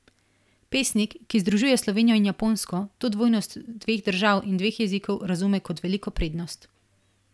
Pesnik, ki združuje Slovenijo in Japonsko, to dvojnost dveh držav in dveh jezikov razume kot veliko prednost.